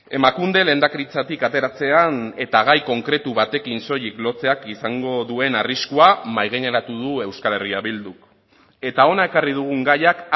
emakunde lehendakaritzatik ateratzean eta gai konkretu batekin soilik lotzeak izango duen arriskua mahaigaineratu du euskal herria bilduk eta hona ekarri dugun gaiak